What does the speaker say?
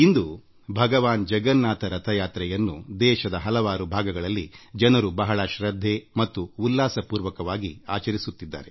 ಇಂದು ಭಗವಾನ್ ಜಗನ್ನಾಥನ ಕಾರ್ ಉತ್ಸವ ರಥಯಾತ್ರೆಯನ್ನು ದೇಶದ ಹಲವಾರು ಭಾಗಗಳಲ್ಲಿ ಜನರು ಶೃದ್ಧಾಭಕ್ತಿಯಿಂದ ಮತ್ತು ಉತ್ಸಾಹದಾಯಕವಾಗಿ ಆಚರಿಸಲಾಗುತ್ತಿದೆ